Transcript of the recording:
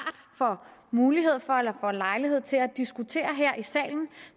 får mulighed for eller lejlighed til at diskutere her i salen